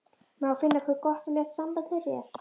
Má finna hve gott og létt samband þeirra er.